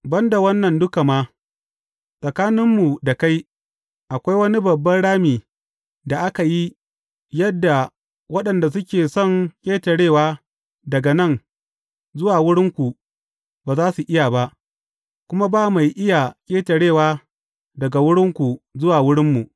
Ban da wannan duka ma, tsakaninmu da kai, akwai wani babban rami da aka yi, yadda waɗanda suke son ƙetarewa daga nan zuwa wurinku, ba za su iya ba, kuma ba mai iya ƙetarewa daga wurinku zuwa wurinmu.’